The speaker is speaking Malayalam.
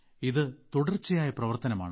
ഇത് തുടർച്ചയായ പ്രവർത്തനമാണ്